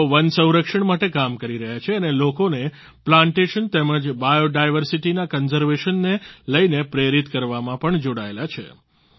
તેઓ વન સંરક્ષણ માટે કામ કરી રહ્યા છે અને લોકોને પ્લાન્ટેશન તેમજ બાયોડાયવર્સિટી ના કન્ઝર્વેશન ને લઈને પ્રેરિત કરવામાં પણ જોડાયેલા છે